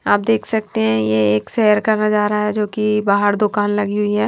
आप देख सकते हैं। ये एक शहर का नजारा है जो कि बाहर दुकान लगी हुई है।